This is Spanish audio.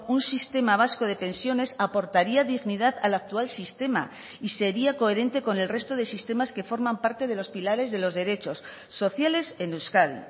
un sistema vasco de pensiones aportaría dignidad al actual sistema y sería coherente con el resto de sistemas que forman parte de los pilares de los derechos sociales en euskadi